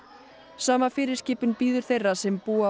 sama fyrirskipun bíður þeirra sem búa á